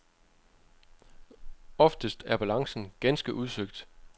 Oftest er balancen ganske udsøgt.